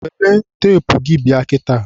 welụ teepu bịa kịta.